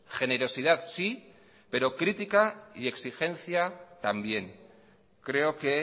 generosidad sí pero crítica y exigencia también creo que